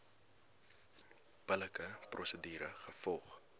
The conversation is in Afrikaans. billike prosedure gevolg